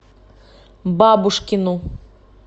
бабушкину